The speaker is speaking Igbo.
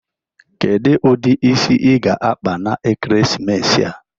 Kedu ụdị isi ị ga-akpa n'ekeresimesi a?